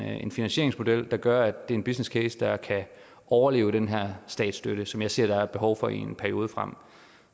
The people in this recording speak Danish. en finansieringsmodel der gør er en businesscase der kan overleve den her statsstøtte som jeg ser der er et behov for i en periode frem